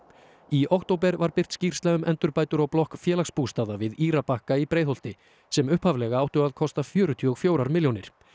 í október var birt skýrsla um endurbætur á blokk Félagsbústaða við Írabakka í Breiðholti sem upphaflega áttu að kosta fjörutíu og fjögur milljónir